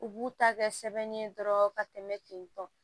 U b'u ta kɛ sɛbɛnni ye dɔrɔn ka tɛmɛ ten tɔ